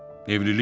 Evlilik?